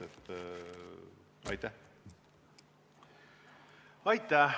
Aitäh!